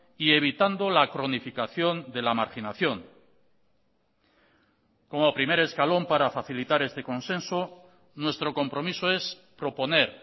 y evitando la cronificación de la marginación como primer escalón para facilitar este consenso nuestro compromiso es proponer